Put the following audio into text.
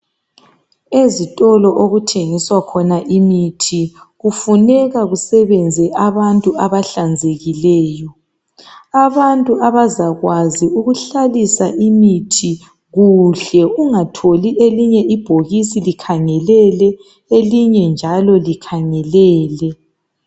Erzitolo okuthengiswa khona imithi kufuneka kusebenze abantu abahlanzekileyo abantu abazakwazi ukuhlalisa imithi kuhle ungatholi elinye ibhokisi likhangele le elinye njalo likhangelele